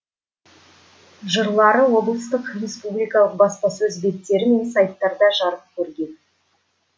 жырлары облыстық республикалық баспасөз беттері мен сайттарда жарық көрген